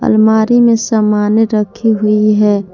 अलमारी में सामाने रखें हुई है।